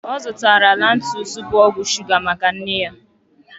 Ọ zụtara Lantus, bu ọgwụ shuga maka nne ya